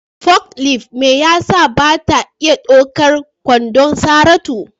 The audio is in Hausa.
forklift mai yatsa ba ta iya ɗaukar kwandon Saratu.